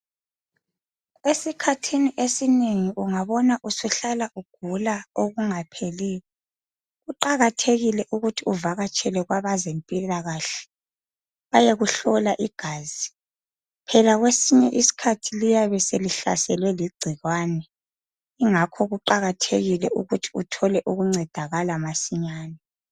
Esikhathini esinengi ungabona usuhlala ugula okungapheliyo, kuqakathekile ukuthi uvakatshele kwabe zempilakahle bayekuhlola igazi phela kwesinye isikhathi liyabe selihlaselwe ligcikwane ingakho kuqakathekile ukuthi uthole ukuncedakala masinyane.